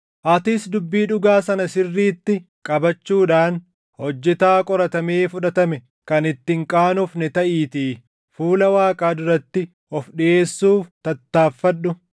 Atis dubbii dhugaa sana sirriitti qabachuudhaan hojjetaa qoratamee fudhatame kan itti hin qaanofne taʼiitii fuula Waaqaa duratti of dhiʼeessuuf tattaaffadhu.